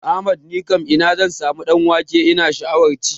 Ahmad nikam ina zan samu ɗan wake ina sha'awan ci?